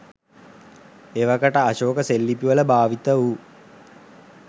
එවකට අශෝක සෙල්ලිපිවල භාවිත වූ